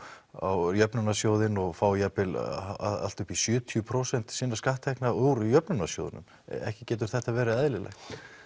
á jöfnunarsjóðinn og fá jafnvel allt upp í sjötíu prósent sinna skatttekna úr jöfnunarsjóði ekki getur þetta verið eðlilegt